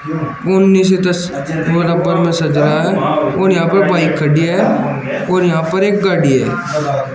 सजाया है और यहां पर बाइक खड़ी है और यहां पर एक गाड़ी है।